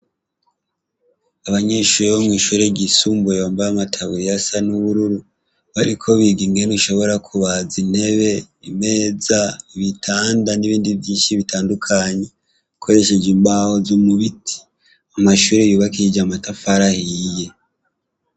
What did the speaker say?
Abanyeshure bomwishure ryisumbuye bambara amataburiya asa n' ubururu bariko biga ingene bashobora kubaza intebe imeza ibitanda n' ibindi vyinshi bitandukanye bakoresheje imbaho zo mubiti amashure yubakishije amatafari ahiye.